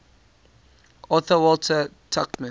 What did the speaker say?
author walter tuchman